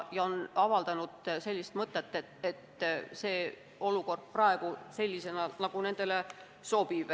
Nad on avaldanud mõtet, et selline olukord praegu nendele sobib.